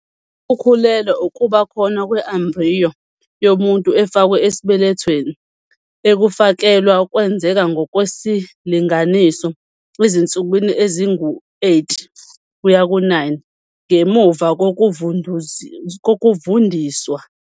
Ukukhulelwa "ukuba khona kwe-embriyo yomuntu efakwe esibelethweni", ukufakelwa kwenzeka ngokwesilinganiso ezinsukwini ezingu-8-9 ngemuva kokuvundiswa.